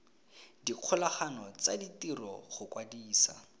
dikgolagano tsa ditiro go kwadisa